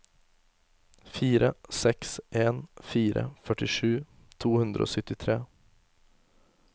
fire seks en fire førtisju to hundre og syttitre